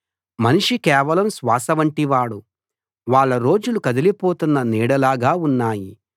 మనిషి కేవలం శ్వాస వంటివాడు వాళ్ళ రోజులు కదిలిపోతున్న నీడలాగా ఉన్నాయి